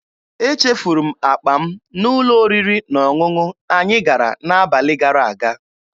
Echefuru m akpa m n'ụlọ oriri na ọṅụṅụ anyị gara n'abalị gara aga.